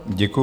Děkuji.